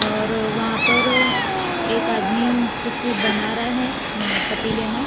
और वहां पर एक आदमी कुछ बना रहा है अं पतीले मे--